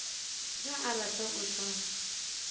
ge a rata o tla